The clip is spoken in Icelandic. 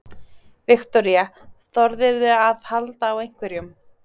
Viktoría: Þorðirðu að halda á einhverjum?